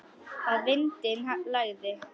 Að vindinn lægði.